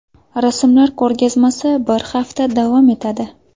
Rasmlar ko‘rgazmasi bir hafta davom etadi.